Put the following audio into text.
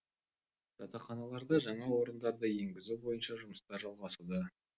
жатақханаларда жаңа орындарды енгізу бойынша жұмыстар жалғасуда